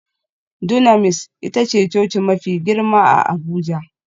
Dunamis ita ce coci mafi girma a Abuja